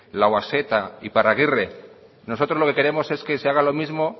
lauaxeta iparraguirre nosotros lo que queremos es que se haga lo mismo